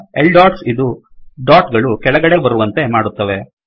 L dots ಇದು dot ಗಳು ಕೆಳಗಡೆ ಬರುವಂತೆ ಮಾಡುತ್ತವೆ